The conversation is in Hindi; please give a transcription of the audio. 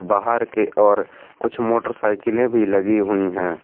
बाहर के ओर कुछ मोटरसाइकिलें भी लगी हुई हैं।